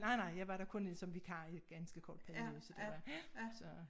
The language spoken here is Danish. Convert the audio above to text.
Nej nej jeg var der kun øh som vikar i en ganske kort periode så det var så